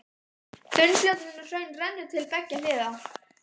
Þunnfljótandi hraun rennur til beggja hliða.